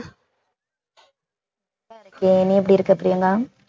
okay நீ எப்படி இருக்க பிரியங்கா